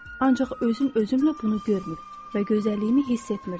Ancaq özüm özümlə bunu görmür və gözəlliyimi hiss etmirdim.